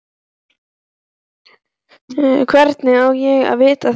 Hvernig á ég að vita það?